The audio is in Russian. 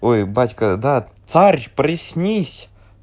ой батька да царь приснись